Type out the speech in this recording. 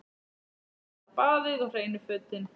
Fyrst er það baðið og hreinu fötin.